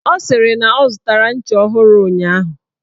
Ọ sịrị na ọ zụtara ncha ọhụrụ ụnyaahụ.